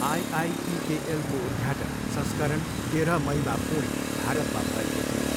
आइआइपिकेएलको उद्घाटन संस्करण तेह्र मईमा पुणे, भारतमा भएको थियो।